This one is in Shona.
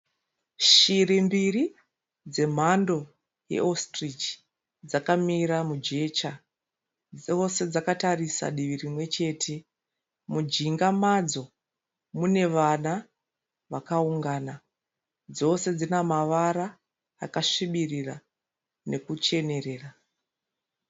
Shiri mbiri dzemhando yeositirichi dzakamira mujecha. Dzose dzakatarisa divi rimwechete. Mujinga madzo mune vana vakaungana. Dzose dzinamavara akasvibirira nekucherera.